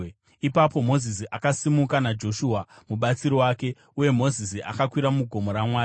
Ipapo Mozisi akasimuka naJoshua mubatsiri wake, uye Mozisi akakwira mugomo raMwari.